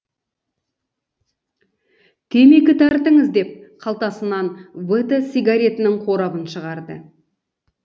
темекі тартыңыз деп қалтасынан вт сигаретінің қорабын шығарды